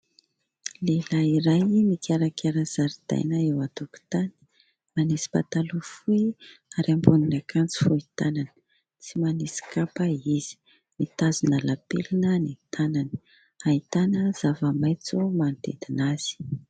Lehilahy iray mikarakara zaridaina eo an-tokotany, manisy pataloha fohy ary ambonin'akanjo fohy tanana, tsy manisy kapa izy ; mitazona lapelina ny tanany. Ahitana zava-maitso manodidina azy.